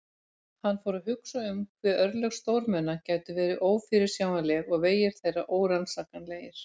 Hann fór að hugsa um hve örlög stórmenna gætu verið ófyrirsjáanleg og vegir þeirra órannsakanlegir.